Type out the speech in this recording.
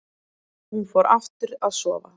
Hún fór aftur að sofa.